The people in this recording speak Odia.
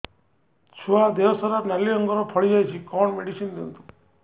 ଛୁଆ ଦେହ ସାରା ନାଲି ରଙ୍ଗର ଫଳି ଯାଇଛି କଣ ମେଡିସିନ ଦିଅନ୍ତୁ